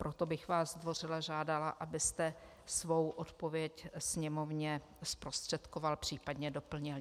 Proto bych vás zdvořile žádala, abyste svou odpověď Sněmovně zprostředkoval, případně doplnil.